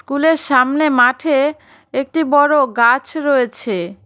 কুলের সামনে মাঠে একটি বড়ো গাছ রয়েছে।